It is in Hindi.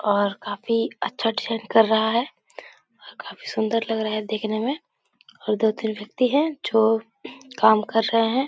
और काफी अच्छा डिजाईन कर रहा है और काफी सुंदर लग रहा है देखने में और दो-तीन व्यक्ति है जो काम कर रहे हैं।